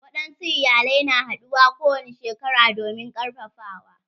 Wadansu iyalai na haduwa kowani shekara domin karfafawa.